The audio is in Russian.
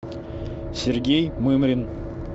сергей мымрин